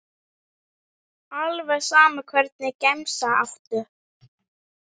Alveg sama Hvernig gemsa áttu?